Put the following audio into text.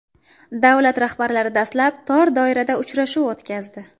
Davlat rahbarlari dastlab tor doirada uchrashuv o‘tkazdi.